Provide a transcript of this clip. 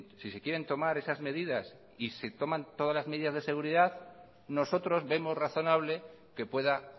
si se quieren tomar esas medidas y se toman todas las medidas de seguridad nosotros vemos razonable que pueda